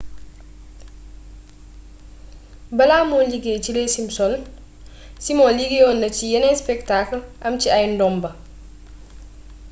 balaa muy liggéey ci les simpsons simon liggéeyoon na ci yeneen spectacle am ci ay ndomba